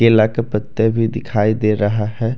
केला के पत्ते भी दिखाई दे रहा है।